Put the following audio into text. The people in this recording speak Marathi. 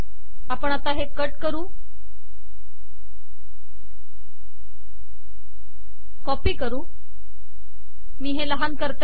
आपण हे कट करू कॉपी करू मी हे लहान करते